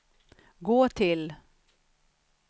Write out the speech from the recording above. gå till